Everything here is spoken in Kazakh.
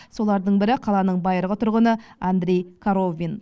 солардың бірі қаланың байырғы тұрғыны андрей коровин